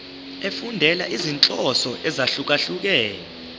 efundela izinhloso ezahlukehlukene